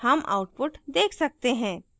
हम output देख सकते हैं